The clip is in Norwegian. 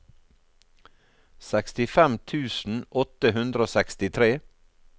sekstifem tusen åtte hundre og sekstitre